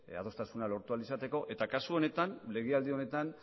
adostasuna lortu ahal izateko eta kasu honetan legealdi honetan